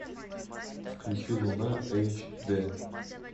включи луна эйч д